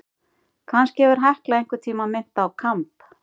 Kannski hefur Hekla einhvern tíma minnt á kamb.